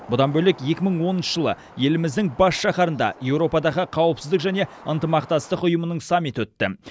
бұдан бөлек екі мың оныншы жылы еліміздің бас шаһарында еуропадағы қауіпсіздік және ынтымақтастық ұйымының саммиті өтті